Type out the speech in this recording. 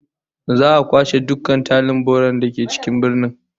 Za'a kwashe dukkan tarin bola da ke cikin birnin